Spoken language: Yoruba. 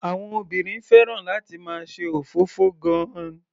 Àwọn obìnrin fẹ́ràn láti máa ṣe òfófó gan-an.